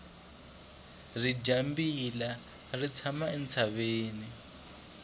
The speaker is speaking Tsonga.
ridyambila ri tshama entshaveni